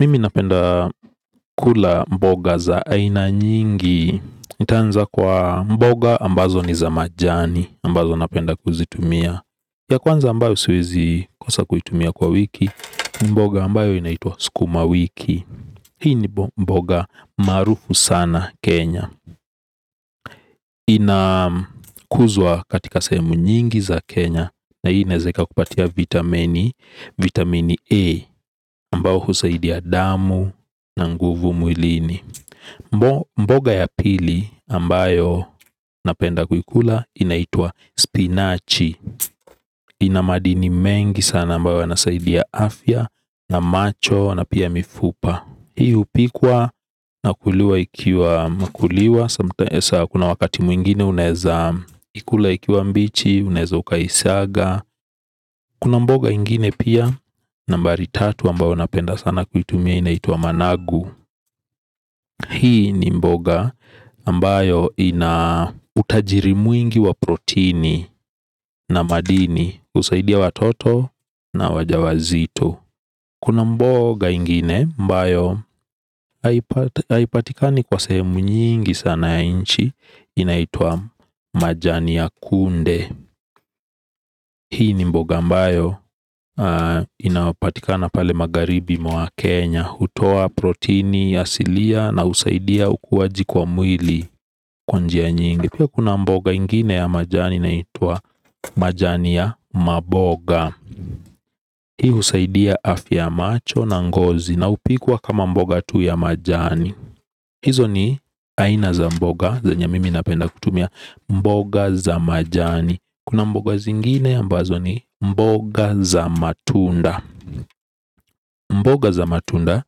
Mimi napenda kula mboga za aina nyingi nitaanza kwa mboga ambazo ni za majani ambazo napenda kuzitumia. Ya kwanza ambayo siwezi kosa kuitumia kwa wiki. Mboga ambayo inaitwa sukuma wiki. Hii ni mboga maarufu sana Kenya. Ina kuzwa katika sehemu nyingi za Kenya Na hii inaweza kupatia vitamini. Vitamini E ambayo husaidia damu na nguvu mwilini. Mboga ya pili ambayo napenda kuikula inaitwa spinachi. Inamadini mengi sana ambayo yanasaidia afya na macho na pia mifupa. Hii upikwa nakuliwa ikiwa makuliwa. Kuna wakati mwingine unaweza ikula ikiwa mbichi, unaweza ukaisaga. Kuna mboga ingine pia nambari tatu ambayo napenda sana kuitumia inaitwa managu. Hii ni mboga ambayo ina utajiri mwingi wa protini na madini husaidia watoto na wajawazito. Kuna mboga ingine ambayo haipatika ni kwa sehemu nyingi sana ya inchi. Inaitwa majani ya kunde. Hii ni mboga mbayo inapatika na pale magharibi mwa Kenya. Hutoa protini ya asilia na usaidia ukuwaji kwa mwili kwa njia nyingi. Pia kuna mboga ingine ya majani inaitwa majani ya maboga. Hii usaidia afya ya macho na ngozi na hupikwa kama mboga tu ya majani. Hizo ni aina za mboga, zenye mimi napenda kutumia mboga za majani. Kuna mboga zingine ambazo ni mboga za matunda. Mboga za matunda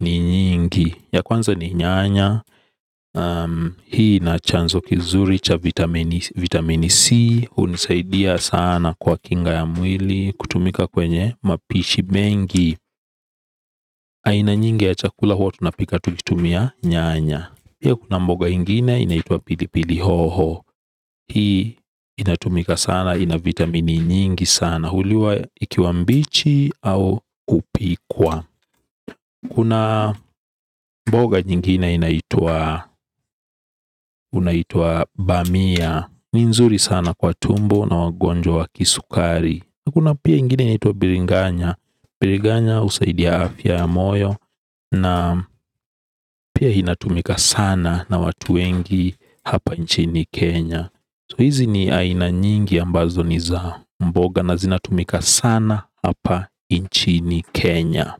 ni nyingi. Ya kwanza ni nyanya. Hii ina chanzo kizuri cha vitamini C hunisaidia sana kwa kinga ya mwili. Kutumika kwenye mapishi mengi. Aina nyingi ya chakula huwa tunapika tukitumia nyanya pia kuna mboga ingine inaitwa pili pili hoho. Hii inatumika sana ina vitamini nyingi sana. Na huliwa ikiwambichi au kupikwa. Kuna mboga nyingine inaitwa inaitwa bamia. Ni nzuri sana kwa tumbo na wagonjwa wa kisukari. Kuna pia ingine inaitwa biringanya. Biringanya usaidia afya ya moyo. Na pia inatumika sana na watuwengi hapa nchini Kenya So hizi ni aina nyingi ambazo ni za mboga na zinatumika sana apa inchini Kenya.